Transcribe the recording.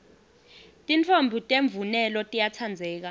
titfombi temvunelo tiyatsandzeka